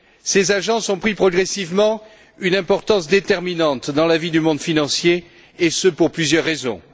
Ces agences ont pris progressivement une importance déterminante dans la vie du monde financier, et ce pour plusieurs raisons.